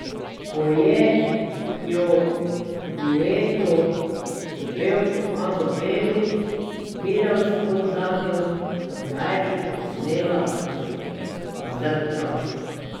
Poje jo v duetu s pevko Ano Bebić, videospot zanjo pa naj bi posnela v Zrčah.